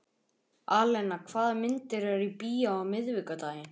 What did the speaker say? Alena, hvaða myndir eru í bíó á miðvikudaginn?